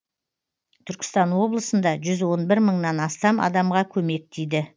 түркістан облысында жүз он бір мыңнан астам адамға көмек тиді